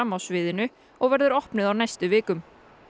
á sviðinu og verður opnuð á næstu vikum